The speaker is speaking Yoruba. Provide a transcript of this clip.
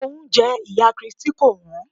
Oúnjẹ ìyá Christi kò wọ́n.